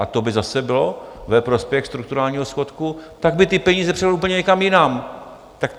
A to by zase bylo ve prospěch strukturálního schodku, tak by ty peníze převedl úplně někam jinam.